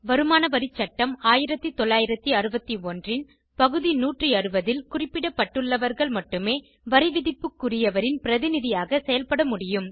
வருமான வரி சட்டம் 1961 ன் பகுதி 160ல் குறிப்பிடப்பட்டுள்ளவர்கள் மட்டுமே வரிவிதிப்புக்குரியவரின் பிரதிநிதியாக செயல்பட முடியும்